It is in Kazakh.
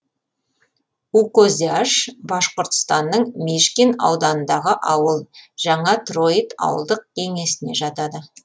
укозяш башқұртстанның мишкин ауданындағы ауыл жаңа троит ауылдық кеңесіне жатады